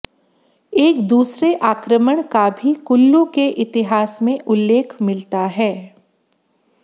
एक दूसरे आक्रमण का भी कुल्लू के इतिहास में उल्लेख मिलता है